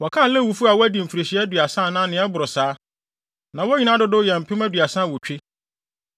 Wɔkan Lewifo a wɔadi mfirihyia aduasa anaa nea ɛboro saa, na wɔn nyinaa dodow yɛ mpem aduasa awotwe.